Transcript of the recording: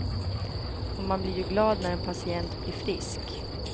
Och man blir ju glad när en patient blir frisk.